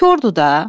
Kordur da.